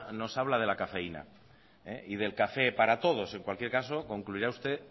nos habla de la cafeína y del café para todos en cualquier caso concluirá usted